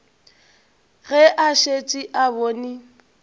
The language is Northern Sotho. ge a šetše a bone